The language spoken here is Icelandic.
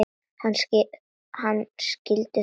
Hann skyldi þó ekki.